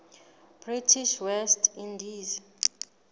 british west indies